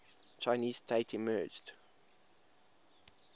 chinese state emerged